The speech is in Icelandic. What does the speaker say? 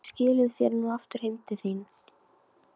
Við skilum þér nú aftur heim til þín.